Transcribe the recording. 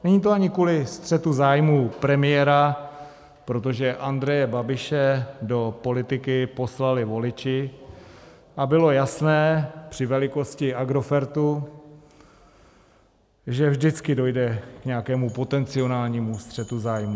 Není to ani kvůli střetu zájmů premiéra, protože Andreje Babiše do politiky poslali voliči a bylo jasné při velikosti Agrofertu, že vždycky dojde k nějakému potenciálnímu střetu zájmů.